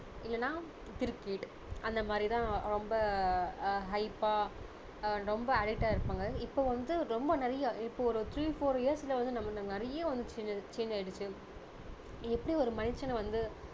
இல்லன்னா கிரிக்கெட் அந்த மாதிரி தான் ரொம்ப ஆஹ் hype பா ரொம்ப இருப்பாங்க இப்போ வந்து ரொம்ப நிறைய இப்போ ஒரு three four years ல நமக்கு நிறைய வந்திடுச்சிங்க change ஆயிடுச்சி எப்படி ஒரு மனுஷனை வந்து